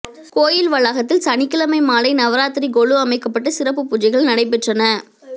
கோயில் வளாகத்தில் சனிக்கிழமை மாலை நவராத்திரி கொலு அமைக்கப்பட்டு சிறப்பு பூஜைகள் நடைபெற்றன